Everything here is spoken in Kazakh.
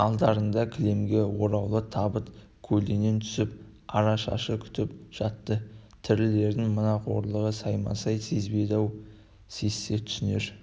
алдарында кілемге ораулы табыт көлденең түсіп арашашы күтіп жатты тірілердің мына қорлығын саймасай сезбейді-ау сезсе түсінер